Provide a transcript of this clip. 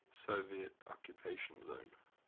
soviet occupation zone